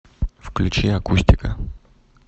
включи акустика